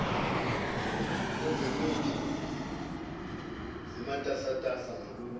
kwezemithi zimatasatasa ngalolu